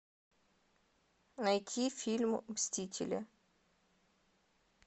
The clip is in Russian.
найти фильм мстители